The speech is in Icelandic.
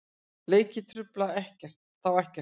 Leikir trufla þá ekkert.